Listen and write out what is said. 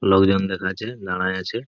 লোকজন দেখা যাচ্ছে দাঁড়ায় আছে।